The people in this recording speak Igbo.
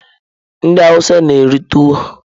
Ndị awụsa na-eri tuwo.